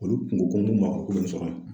Olu kunko ko n tɛ mɔgɔ kelen. sɔrɔ